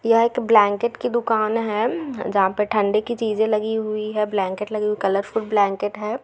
यह एक ब्लैंकेट की दुकान है जहाँ पे ठंडी की चींज़े लगी हुए है ब्लैंकेट लगे कलरफुल ब्लैंकेट है।